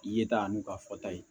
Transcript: Ye ta n'u ka fɔta ye